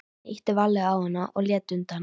Hann ýtti varlega á hana og hún lét undan.